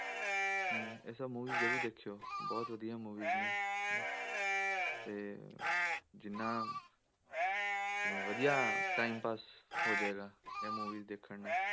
ਹਮ ਇਹ ਸਭ movies ਜ਼ਰੂਰ ਦੇਖਿਓ ਬਹੁਤ ਵਧੀਆ movies ਨੇ ਤੇ ਜਿੰਨਾ ਵਧੀਆ time ਪਾਸ ਹੋ ਜਾਏਗਾ ਇਹ movies ਦੇਖਣ ਨਾਲ